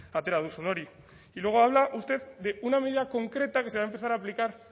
atera duzun hori y luego habla usted de una medida concreta que se va a empezar a aplicar